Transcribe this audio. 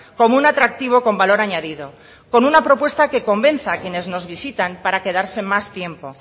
como un atractivo con valor añadido con una propuesta que convenza a quienes nos visitan para quedarse más tiempo